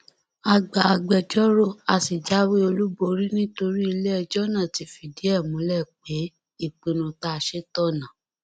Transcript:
a gba agbẹjọrò a sì jáwé olúborí nítorí iléẹjọ náà ti fìdí ẹ múlẹ pé ìpinnu tá a ṣe tọnà